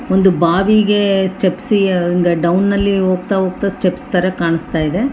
ಒಂದು ಬಾವಿಗೆ ಸ್ಟೆಪ್ಸಿ ಡೌನ್ ನಲ್ಲಿ ಹೋಗ್ತ ಹೋಗ್ತ ಸ್ಟೆಪ್ಸ್ ತರ ಕಾಣ್ಸ್ತಾ ಇದೆ .